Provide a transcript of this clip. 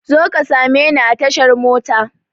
Zo ka same ni a tashar mota!